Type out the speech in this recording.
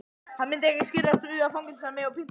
Hann myndi ekki skirrast við að fangelsa mig og pynta.